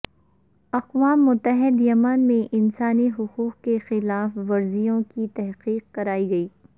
اقوام متحدہ یمن میں انسانی حقوق کی خلاف ورزیوں کی تحقیق کرائے گا